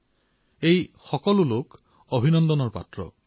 এওঁলোক সকলো অভিনন্দনৰ পাত্ৰ